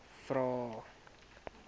vvvvrae